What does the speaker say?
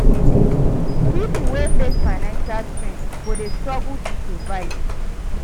Pipo wey face financial strain, go dey struggle to survive.